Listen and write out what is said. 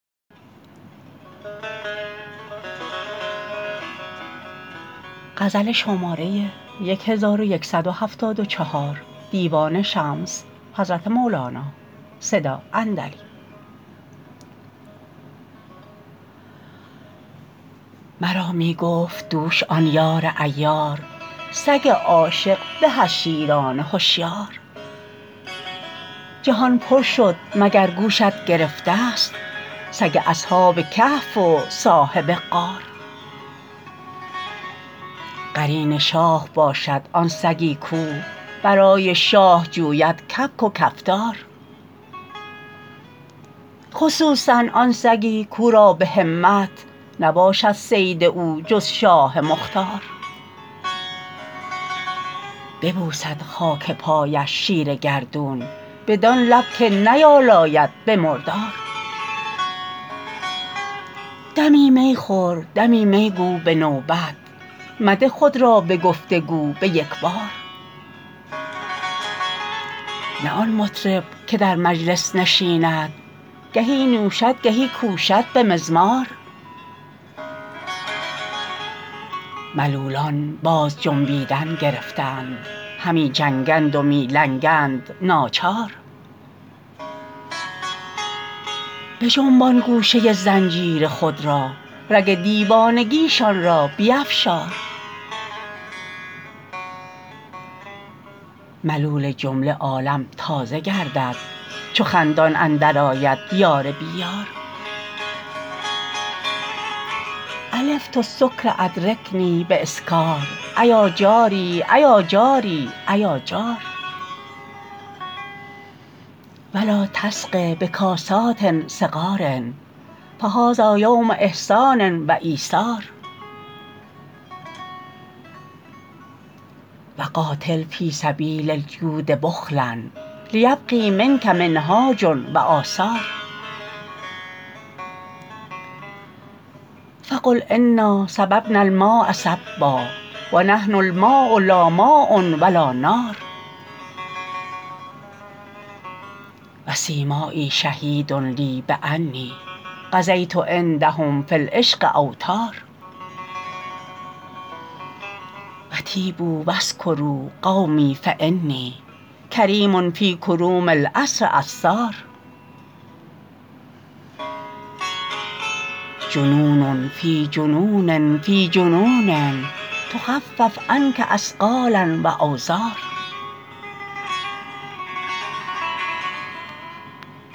مرا می گفت دوش آن یار عیار سگ عاشق به از شیران هشیار جهان پر شد مگر گوشت گرفتست سگ اصحاب کهف و صاحب غار قرین شاه باشد آن سگی کو برای شاه جوید کبک و کفتار خصوصا آن سگی کو را به همت نباشد صید او جز شاه مختار ببوسد خاک پایش شیر گردون بدان لب که نیالاید به مردار دمی می خور دمی می گو به نوبت مده خود را به گفت و گو به یک بار نه آن مطرب که در مجلس نشیند گهی نوشد گهی کوشد به مزمار ملولان باز جنبیدن گرفتند همی جنگند و می لنگند ناچار بجنبان گوشه زنجیر خود را رگ دیوانگیشان را بیفشار ملول جمله عالم تازه گردد چو خندان اندرآید یار بی یار الفت السکر ادرکنی باسکار ایا جاری ایا جاری ایا جار و لا تسق بکاسات صغار فهذا یوم احسان و ایثار و قاتل فی سبیل الجود بخلا لیبقی منک منهاج و آثار فقل انا صببنا الماء صبا و نحن الماء لا ماء و لا نار و سیمایی شهید لی بانی قضیت عندهم فی العشق اوطار و طیبوا و اسکروا قومی فانی کریم فی کروم العصر عصار جنون فی جنون فی جنون تخفف عنک اثقالا و اوزار